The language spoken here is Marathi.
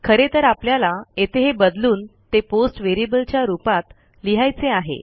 खरेतर आपल्याला येथे हे बदलून ते पोस्ट व्हेरिएबलच्या रूपात लिहायचे आहे